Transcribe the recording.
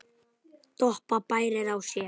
Doppa bærir á sér.